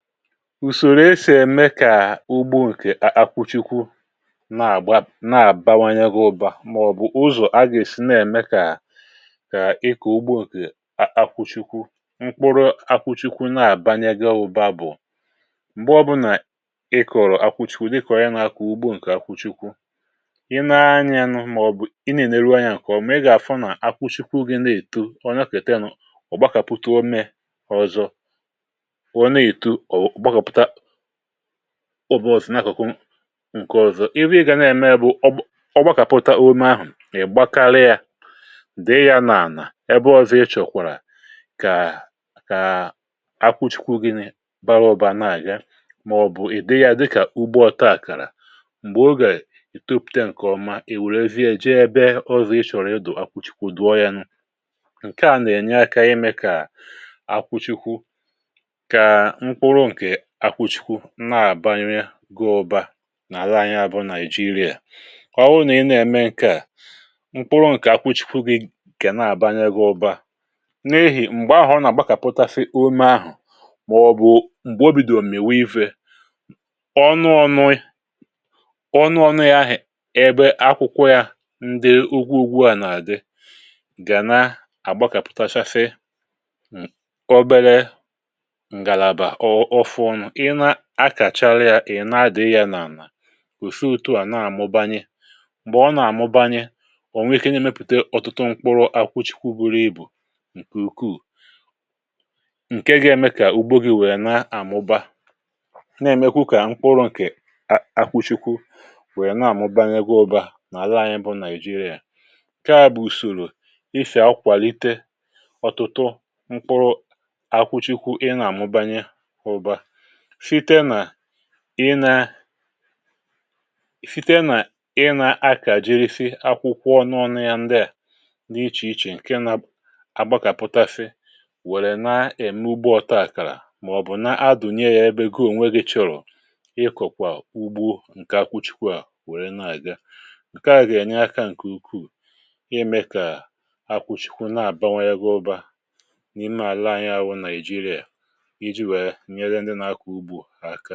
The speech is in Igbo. ùsòrò esì ème kà ugbo ǹkè akwụchikwu na-àbawanye gị ụba màọbụ̀ ụzọ̀ agà-èsi na-ème kà ịkụ̀ ugbo ǹkè akwụchikwu mkpụrụ akwụchikwu na-àbanye gị ụba bụ̀ m̀gbe ọbụlà ị kọ̀rọ̀ akwụchikwu ịkụ̀ọrị nà-akọ̀ ugbo ǹkè akwụchikwu ị nanyė nụ màọbụ̀ ị na-ène ruo anya kà ọ̀ mị gà-àfụ nà akwụchikwu gị na-èto ọ̀ nya kà ètinù ọ̀ gbakàpụ̀tà o mee ọzọ ụbọsị̀ n’akụkụ um ǹkè ọzọ, iwi gà na-eme bụ ọ bụ, ọ gbakàpụta ume ahụ̀, ị̀ gbakarị yȧ dị yȧ n’ànà, ịbụọzụ ị chọ̀kwàrà kà kà akwụchikwu gịnị̇ bara ụbà nà-àgà màọ̀bụ̀ ị̀ dị yȧ dịkà ugbo ọtȧàkàrà m̀gbè ogè ìtopùte ǹkèọma, ì wèrezie eji ebe ọzọ̀ ị chọ̀rọ̀ ịdụ̀ akwụchikwu dụọ yȧ nụ ǹke à nà-ènye akȧ imė kà akwụchikwu akwụchikwu nà-àbanye ga ụba um nà-àla anyị abụọ naị̀jịrị̀a ọ wụ nà ị nà-ème ǹkè a mkpụrụ ǹkè akwụchikwu gị kè nà-àbanye ga ụba n’ehì m̀gbe ahụ̀ ọ nà-àgbakàpụtafị ume ahụ̀ màọ̀bụ̀ m̀gbè obidò m̀mèwè ifė ọnụ ọṅụ ọnụ ọṅụ ahịa ebe akwụkwọ ya ndị ụgwụ ụgwụ a nà-àdị gà na-àgbakàpụtachafe obere i na-àkàchala ya ị̀ na-adị̇ghị yȧ n’àlà ùse otuà na-àmụbanye m̀gbè ọ nà-àmụbanye ọ̀ nwee ike n’imėpùte ọ̀tụtụ mkpụrụ akwụchikwu buru ibù ǹkè ukwuù ǹke ga-eme kà ugbo gị̇ nwèe na-àmụba na-èmekwa kà mkpụrụ ǹkè akpụchikwu nwèe na-àmụbanye gị ụba mà ala anyị bụ nàịjirịa kaa bù ùsòrò isè akwàlite ọ̀tụtụ mkpụrụ akwụchikwu ị nà-àmụbanye ụba fite nà ị na fite nà ị na-akà jiri fị akwụkwọ n’ọnụ ya ndịà n’ichèichè ǹke na um agbakàpụta fị wèrè na-ème ugbo ọta àkàrà màọ̀bụ̀ na-adụ̀nye ya ebe goo nweghi chọ̀rọ̀ ịkọ̀kwà ugbo ǹkè akwụchikwu à wèrè na-àga ǹke à gà-ènye aka ǹkè ukwuu ime kà akwụchikwu na-àbanwe ya gụbà n’ime àla anyị ahụ nà ijiri à ǹkẹ̀